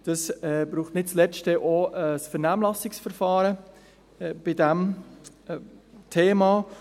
Es braucht nicht zuletzt auch ein Vernehmlassungsverfahren zu diesem Thema.